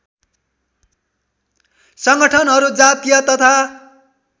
सङ्गठनहरू जातीय तथा